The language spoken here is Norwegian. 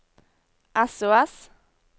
sos